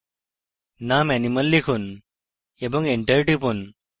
name animal লিখুন এবং enter টিপুন